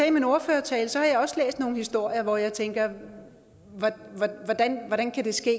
i min ordførertale har jeg også læst nogle historier hvor jeg tænker hvordan kan det ske